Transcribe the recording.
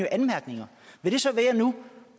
anmærkninger vil det så være